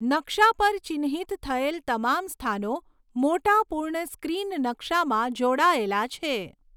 નકશા પર ચિહ્નિત થયેલ તમામ સ્થાનો મોટા પૂર્ણ સ્ક્રીન નકશામાં જોડાયેલા છે.